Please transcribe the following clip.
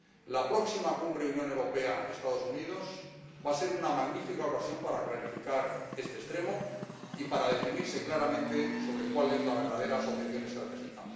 La próxima Cumbre Unión Europea Estados Unidos va a ser una magnífica ocasión para clarificar este extremo y para definirse claramente sobre cuál es la verdadera asociación estratégica.